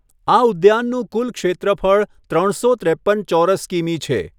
આ ઉદ્યાનનું કુલ ક્ષેત્રફળ ત્રણસો ત્રેપ્પન ચોરસ કિમી છે.